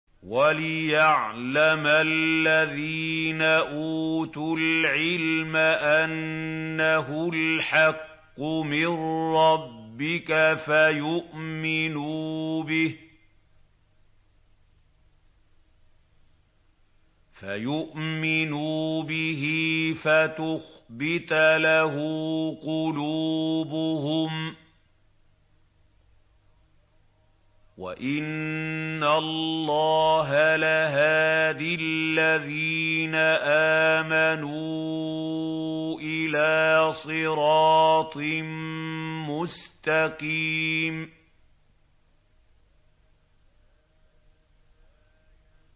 وَلِيَعْلَمَ الَّذِينَ أُوتُوا الْعِلْمَ أَنَّهُ الْحَقُّ مِن رَّبِّكَ فَيُؤْمِنُوا بِهِ فَتُخْبِتَ لَهُ قُلُوبُهُمْ ۗ وَإِنَّ اللَّهَ لَهَادِ الَّذِينَ آمَنُوا إِلَىٰ صِرَاطٍ مُّسْتَقِيمٍ